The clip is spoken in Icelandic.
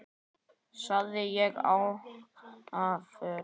sagði ég ákafur.